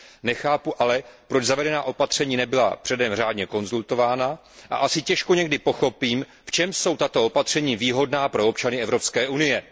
Nechápu ale, proč zavedená opatření nebyla předem řádně konzultována, a asi těžko někdy pochopím, v čem jsou tato opatření výhodná pro občany Evropské unie.